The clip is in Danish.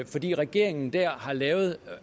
fordi regeringen dér har lavet